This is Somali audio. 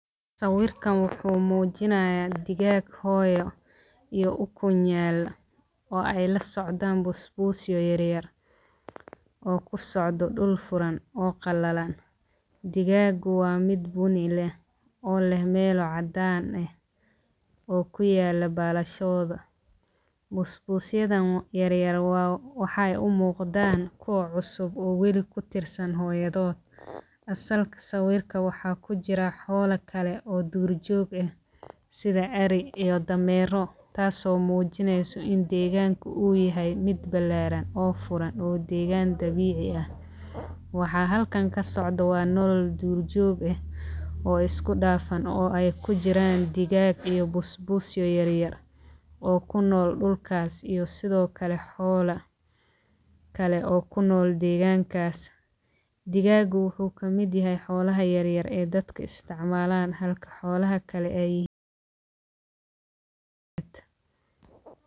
Sawirkan wuxuu mujinayaa digag hooyo iyo ukun yal oo ee lasocdan basbus yar yar oo kusocdo dul furan oo qalalan digagu waa mid buni leh oo leh melo cadan eh oo kuyalo balashodha busbus yadhan yar yar waxee umuqdan kuwa cusub oo wali kutirsan hooyadhoda asalka sawirka waxaa kujira xola kale oo dur jog eh sitha eri iyo damero tas oo mujieyso in deganku u yahay mid furan oo balaran oo degan dabici leh waxaa halkan kasocdo waa nolol dur jog eh oo isku dafan oo ee kujiran digag iyo busbus yar yar oo kunol dulkas xola kale oo kunol degankas, digagu wuxuu kamiid yahay xolaha yar yar oo dadka isticmalan halka xolaha kale ee yihin.